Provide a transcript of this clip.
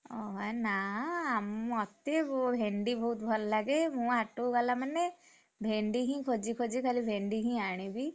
ଓହୋ ଏ ନା ଆ ମତେ, ଭେଣ୍ଡି ବହୁତ୍ ଭଲ ଲାଗେ। ମୁଁ ହାଟୁକୁ ଗଲା ମାନେ, ଭେଣ୍ଡି ହିଁ ଖୋଜି ଖୋଜି ଖାଲି ଭେଣ୍ଡି ହିଁ ଆଣିବି।